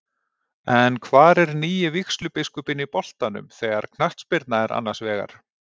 En hvar er nýi vígslubiskupinn í boltanum þegar knattspyrna er annars vegar?